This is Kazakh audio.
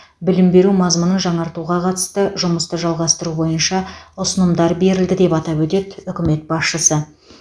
білім беру мазмұнын жаңартуға қатысты жұмысты жалғастыру бойынша ұсынымдар берілді деп атап өтеді үкімет басшысы